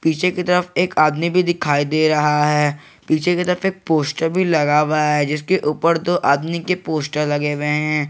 पीछे की तरफ एक आदमी भी दिखाई दे रहा है पीछे की तरफ एक पोस्टर भी लगा हुआ है जिसके ऊपर दो आदमी के पोस्टर लगे हुए हैं।